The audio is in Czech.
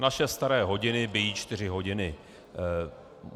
Naše staré hodiny bijí čtyři hodiny.